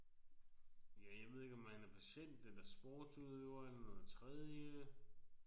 Ja jeg ved ikke om han er patient eller sportsudøver eller noget tredje